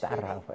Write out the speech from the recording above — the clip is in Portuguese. Tarrafa.